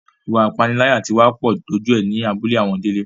Ìwà ìpániláyà tí wá pọ̀ dójú ẹ ní abúlé àwọn Délé